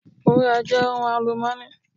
Wúrà je ohun alumọ́nì.